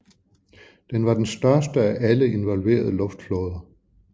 Den var den største af alle involverede luftflåder